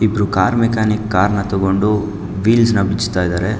ಇದು ಕಾರ್ಮಿಕನಿಗೆ ಕಾರ್ನ ತಗೊಂಡು ವೀಲ್ಸ್ ನ ಬಿಚ್ತಾ ಇದ್ದಾರೆ.